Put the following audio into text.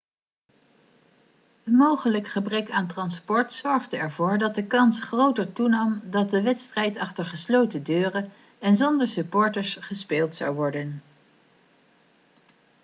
een mogelijk gebrek aan transport zorgde ervoor dat de kans groter toenam dat de wedstrijd achter gesloten deuren en zonder supporters gespeeld zou worden